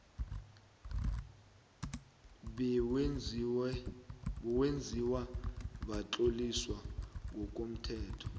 bewenziwa bewatloliswa ngokomthetho